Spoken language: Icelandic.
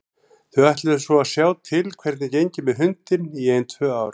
Þau ætluðu svo að sjá til hvernig gengi með hundinn í ein tvö ár.